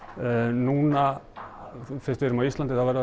núna fyrst við erum á Íslandi þá verður